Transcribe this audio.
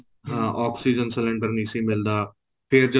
ਹਾਂ oxygen cylinder ਨਹੀਂ ਸੀ ਮਿਲਦਾ ਫ਼ੇਰ ਜਦੋਂ